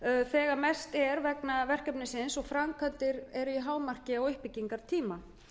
þegar mest er vegna verkefnisins og þegar framkvæmdir eru í hámarki á uppbyggingartíma